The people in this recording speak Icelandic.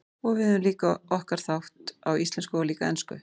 Og við höfum líka okkar þátt, á íslensku og líka ensku.